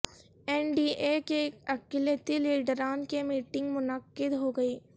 N D A کے اقلیتی لیڈران کی میٹنگ منعقدہوئی